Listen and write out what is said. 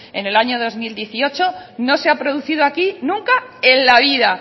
en el año dos mil dieciocho no se ha producido aquí nunca en la vida